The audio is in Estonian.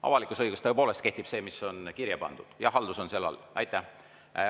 Avalikus õiguses tõepoolest kehtib see, mis on kirja pandud, ja haldus on seal all.